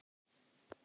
Já ég.